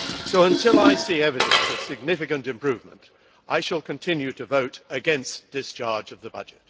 So until I see evidence of significant improvement, I shall continue to vote against discharge of the budget.